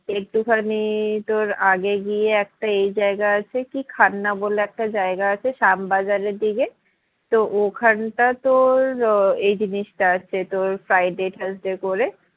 একটু খানি তোর আগে গিয়ে একটা এই জায়গা আছে কি খান্না বলে একটা জায়গা আছে শ্যামবাজারের দিকে তো ওখানটা তোর আহ এই জিনিসটা আছে তোর friday thursday করে